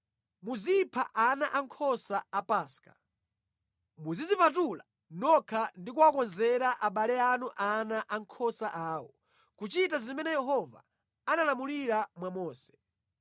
Muzipha ana ankhosa a Paska, muzidzipatula nokha ndi kuwakonzera abale anu ana ankhosa awo, kuchita zimene Yehova analamulira mwa Mose.”